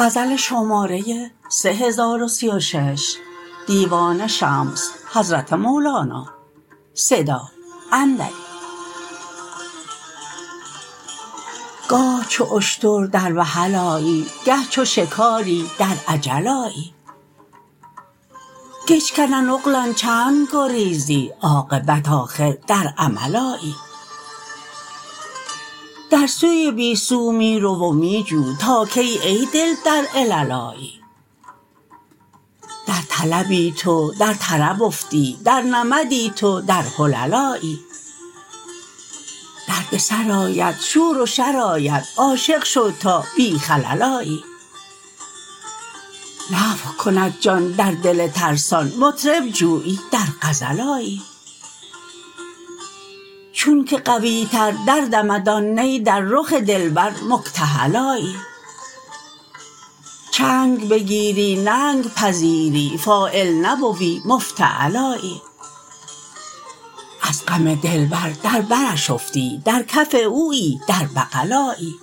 گاه چو اشتر در وحل آیی گه چو شکاری در عجل آیی کجکنن اغلن چند گریزی عاقبت آخر در عمل آیی در سوی بی سو می رو و می جو تا کی ای دل در علل آیی در طلبی تو در طرب افتی در نمدی تو در حلل آیی دردسر آید شور و شر آید عاشق شو تا بی خلل آیی نفخ کند جان در دل ترسان مطرب جویی در غزل آیی چونک قویتر دردمد آن نی در رخ دلبر مکتحل آیی چنگ بگیری ننگ پذیری فاعل نبوی مفتعل آیی از غم دلبر در برش افتی در کف اویی در بغل آیی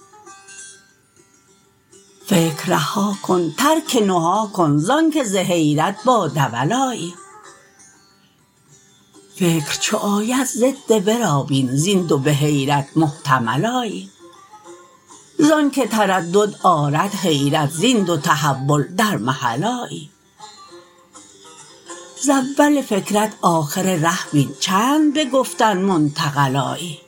فکر رها کن ترک نهی کن زانک ز حیرت با دول آیی فکر چو آید ضد ورا بین زین دو به حیرت محتمل آیی زانک تردد آرد حیرت زین دو تحول در محل آیی ز اول فکرت آخر ره بین چند به گفتن منتقل آیی